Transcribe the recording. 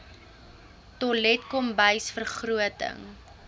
toilet kombuis vergroting